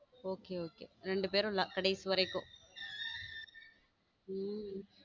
okay okay ரெண்டு பேரும் கடைசி வரைக்கும